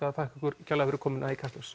það takk kærlega fyrir komuna í Kastljós